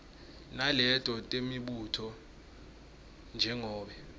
naleto temibuto njengobe